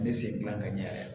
N bɛ segin ka ɲɛ yɛrɛ